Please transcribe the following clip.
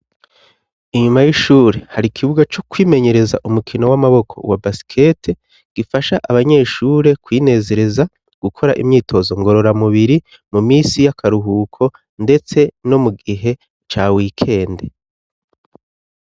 Inyuma y'ishure hari ikibuga co kwimenyereza umukino w'amaboko wa basikete gifasha abanyeshure kwinezereza gukora imyitozo ngorora mubiri mu minsi yakaruhuko ndetse no mugihe ca wikende.